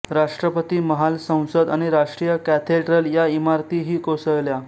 राष्ट्रपती महाल संसद आणि राष्ट्रीय कॅथेड्रल या इमारतीही कोसळल्या